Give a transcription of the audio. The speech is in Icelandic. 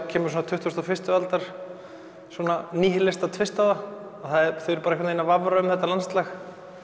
kemur svo tuttugustu og fyrstu aldar tvist á það þau eru bara að vafra um þetta landslag